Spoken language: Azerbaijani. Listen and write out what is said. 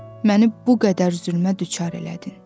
məni bu qədər zülmə düçar elədin?